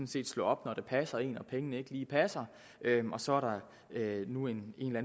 set slå op når det passer en når pengene ikke lige passer og så er der nu en eller